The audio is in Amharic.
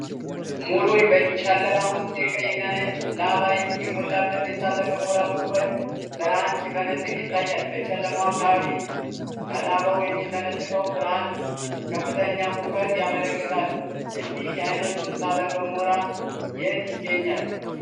ሙሉ ጨለማ ውስጥ የቀይና ነጭ ላቫ የሞላበት የእሳተ ገሞራ ጉድጓድ ብርሃን ሲፈነጥቅ ይታያል። በጨለማው አካባቢ ከላቫው የሚፈነጥቀው ብርሃን ከፍተኛ ሙቀት ያመላክታል። እንዲህ አይነቱ እሳተ ገሞራ የት ይገኛል?